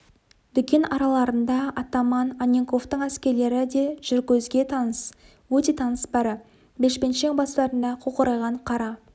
дүкен араларында атаман анненковтың әскерлері де жүр көзге өте таныс бәрі бешпентшең бастарында қоқырайған қара